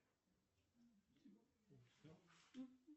джой переведи сто рублей антону